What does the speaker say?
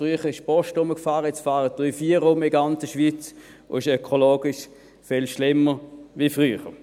Früher fuhr die Post herum, jetzt fahren drei oder vier in der ganzen Schweiz herum, und es ist ökologisch viel schlimmer als früher.